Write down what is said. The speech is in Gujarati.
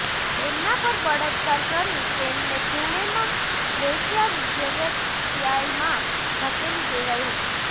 તેમના પર બળાત્કાર કરી તેમને પુણેમા વેશ્યાવ્યવસાયમાં ધકેલી દેવાઈ હતી